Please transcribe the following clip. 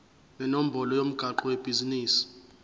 nenombolo yomgwaqo webhizinisi